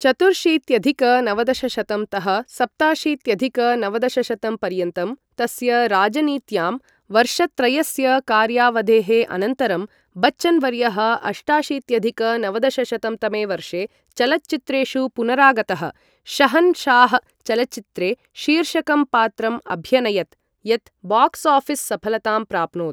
चतुर्शीत्यधिक नवदशशतं तः सप्ताशीत्यधिक नवदशशतं पर्यन्तं तस्य राजनीत्यां वर्षत्रयस्य कार्यावधेः अनन्तरं, बच्चन् वर्यः अष्टाशीत्यधिक नवदशशतं तमे वर्षे चलच्चित्रेषु पुनरागतः, शहन् शाह् चलच्चित्रे शीर्षकं पात्रम् अभ्यनयत्, यत् बाक्स् आफिस् सफलतां प्राप्नोत्।